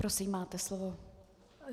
Prosím, máte slovo.